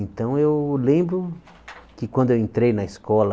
Então eu lembro que quando eu entrei na escola